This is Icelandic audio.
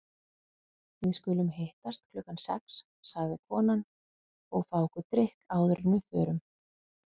Við skulum hittast klukkan sex, sagði konan, og fá okkur drykk áður en við förum.